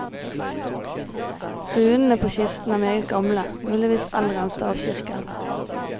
Runene på kisten er meget gamle, muligvis eldre enn stavkirken.